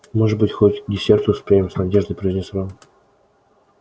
может быть хоть к десерту успеем с надеждой произнёс рон